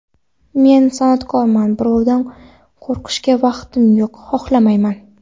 Men san’atkorman, birovdan qo‘rqishga vaqtim yo‘q, xohlamayman.